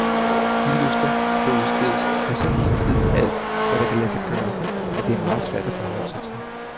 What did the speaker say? De løfter, der udstedes, er så hinsides alt, hvad der kan lade sig gøre, at det er meget svært at forholde sig til.